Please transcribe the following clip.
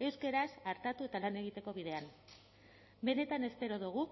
euskaraz artatu eta lan egiteko bidean benetan espero dugu